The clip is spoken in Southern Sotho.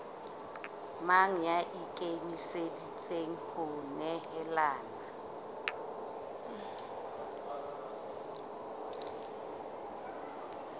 mang ya ikemiseditseng ho nehelana